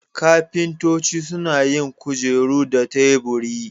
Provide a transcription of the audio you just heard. Ƙafintoci suna yin kujeru da teburi.